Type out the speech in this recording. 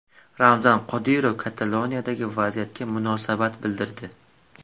Ramzan Qodirov Kataloniyadagi vaziyatga munosabat bildirdi.